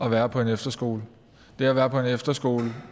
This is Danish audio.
at være på en efterskole det at være på en efterskole